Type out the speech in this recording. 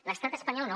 l’estat espanyol no